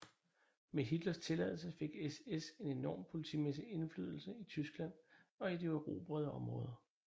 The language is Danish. Med Hitlers tilladelse fik SS en enorm politimæssig indflydelse i Tyskland og i de erobrede områder